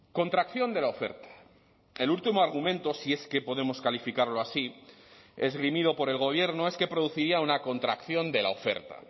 contracción de la oferta el último argumento si es que podemos calificarlo así esgrimido por el gobierno es que produciría una contracción de la oferta